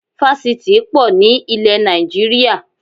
Fásitì í pọ̀ ní ilẹ̀ Nàìjíríà